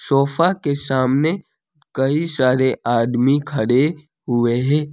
Sofa के सामने कई सारे आदमी खड़े हुए है।